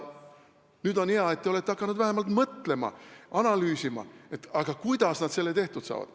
Nüüd on hea, et te olete hakanud vähemalt mõtlema, analüüsima, kuidas nad selle kõik tehtud saavad.